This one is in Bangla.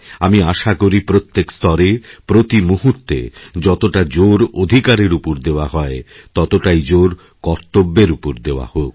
আমি আশা করি প্রত্যেকস্তরে প্রতি মুহূর্তে যতটা জোর অধিকারের উপর দেওয়া হয় ততটাই জোর কর্তব্যের উপরদেওয়া হোক